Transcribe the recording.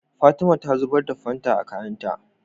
Fatima ta zubar da fanta a kayan ta